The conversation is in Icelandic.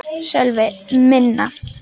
Sölvi: Minna?